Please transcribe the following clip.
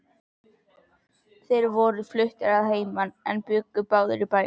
Þeir voru fluttir að heiman en bjuggu báðir í bænum.